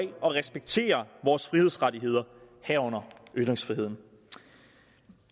og respekterer vores frihedsrettigheder herunder ytringsfriheden